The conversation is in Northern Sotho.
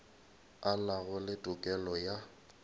a nago le tokelo ya